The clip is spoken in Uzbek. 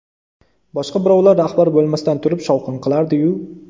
Boshqa birovlar rahbar bo‘lmasdan turib shovqin qilardi-yu.